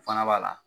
O fana b'a la